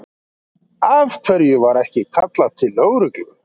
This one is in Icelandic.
Af hverju var ekki kallað til lögreglu?